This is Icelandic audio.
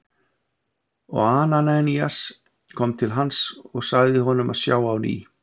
Og Ananías kom til hans og sagði honum að sjá á ný.